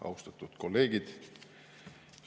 Austatud kolleegid!